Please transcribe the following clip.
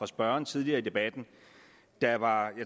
spørgeren tidligere i debatten der var